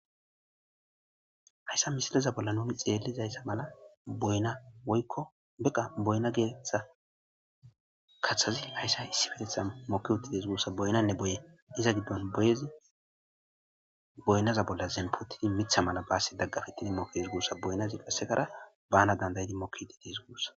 hayssa misileza bolla nuni xeellizayssa mala boyna woykkobeqa boyna geetetha kaththazi hayssa issi betetha moki wuti des guussa boynanne boye iza giddon byezit boynaza bolla zenpotidi mitha mala baassi daggafittidi moks gussa boyna ziqasekara bana dandayidi moki woti des guussa